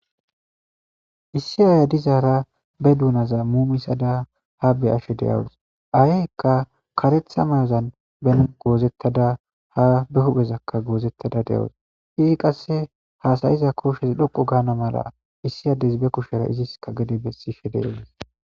Issi aya dizaara be duunaza muumisada ha be ashe deyawus aheykka karetha mayozan ben goozettada ha be huphezakka goozettada de'oos izi qasse haasayiza kooshshesi dhoqu gaana mala issi ades be kushera iziska gede bessi she de edes